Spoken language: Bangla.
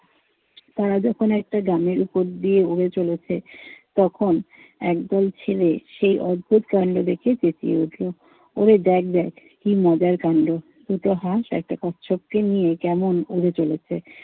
তারা যখন একটা গ্রামের উপর দিয়ে উড়ে চলেছে তখন একদল ছেলে সেই অদ্ভুত কান্ড দেখে চেঁচিয়ে উঠলো। ওরে দেখ দেখ, কি মজার কান্ড। দুটো হাঁস একটা কচ্ছপকে নিয়ে কেমন উড়ে চলেছে।